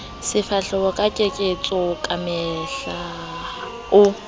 sefahleho ka keketso kamehla o